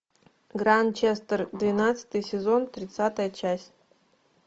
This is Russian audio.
гранчестер двенадцатый сезон тридцатая часть